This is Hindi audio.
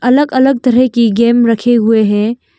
अलग अलग तरह की गेम रखे हुए हैं।